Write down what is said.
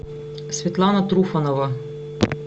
светлана труфанова